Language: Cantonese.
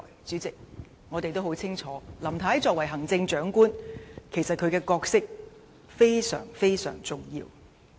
主席，我們都很清楚，林太作為行政長官，角色其實非常重要。